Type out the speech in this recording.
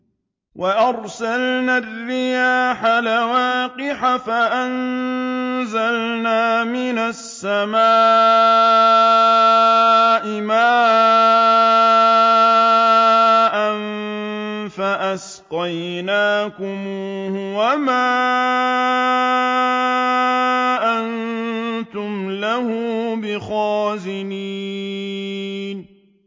وَأَرْسَلْنَا الرِّيَاحَ لَوَاقِحَ فَأَنزَلْنَا مِنَ السَّمَاءِ مَاءً فَأَسْقَيْنَاكُمُوهُ وَمَا أَنتُمْ لَهُ بِخَازِنِينَ